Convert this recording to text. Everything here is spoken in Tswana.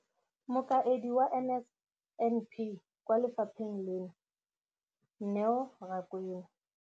Mokaedi wa NSNP kwa lefapheng leno, Neo Rakwena.